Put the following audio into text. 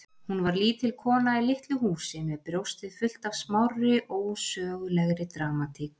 Hún var lítil kona í litlu húsi með brjóstið fullt af smárri, ósögulegri dramatík.